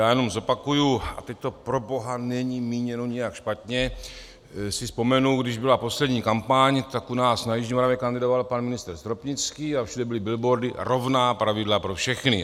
Já jenom zopakuji, a teď to proboha není míněno nějak špatně, si vzpomenu, když byla poslední kampaň, tak u nás na jižní Moravě kandidoval pan ministr Stropnický a všude byly billboardy: rovná pravidla pro všechny.